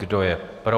Kdo je pro?